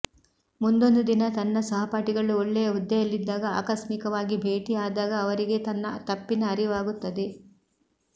ಮುಂದೊಂದು ದಿನ ತನ್ನ ಸಹಪಾಠಿಗಳು ಒಳ್ಳೆಯ ಹುದ್ದೆಯಲ್ಲಿದ್ದಾಗ ಆಕಸ್ಮಿಕವಾಗಿ ಭೇಟಿ ಆದಾಗ ಅವರಿಗೆ ತನ್ನ ತಪ್ಪಿನ ಅರಿವಾಗುತ್ತದೆ